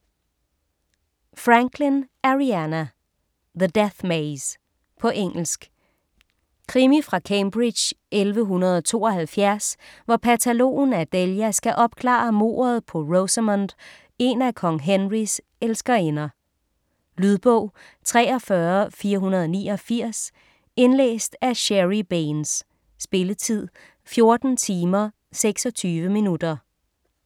Franklin, Ariana: The death maze På engelsk. Krimi fra Cambridge 1172, hvor patologen Adelia skal opklare mordet på Rosamund, en af kong Henrys elskerinder. Lydbog 43489 Indlæst af Sherry Baines. Spilletid: 14 timer, 26 minutter.